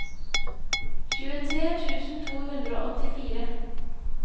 tjuetre tusen to hundre og åttifire